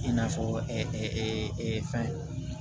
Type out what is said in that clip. I n'a fɔ fɛn